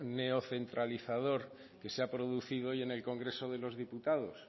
neocentralizador que se ha producido hoy en el congreso se los diputados